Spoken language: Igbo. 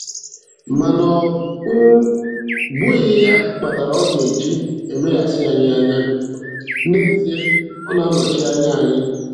Mana ọ um bụghị ya kpatara ọ ga-eji emeghasị anyị anya - n'ezie, ọ na-anọchi anya anyị